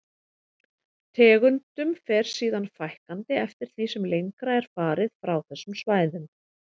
Tegundum fer síðan fækkandi eftir því sem lengra er farið frá þessum svæðum.